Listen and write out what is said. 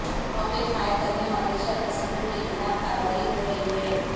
rocket fire کرنے والے شرپسندوں کے خلاف کارروائی ہورہی ہے